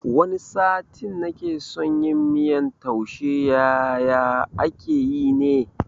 Wani satin nake son yin miyan taushe yaye ake yi ne?